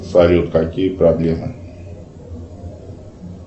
салют какие проблемы